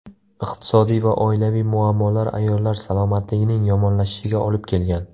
Iqtisodiy va oilaviy muammolar ayollar salomatligining yomonlashishiga olib kelgan.